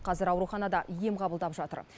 қазір ауруханада ем қабылдап жатыр